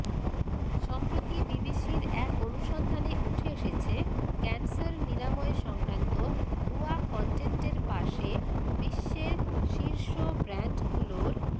সম্প্রতি বিবিসির এক অনুসন্ধানে উঠে এসেছে ক্যানসার নিরাময়সংক্রান্ত ভুয়া কনটেন্টের পাশে বিশ্বের শীর্ষ ব্র্যান্ডগুলোর